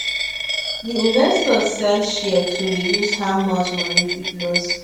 the investor sell shares to reduce how much money fit loss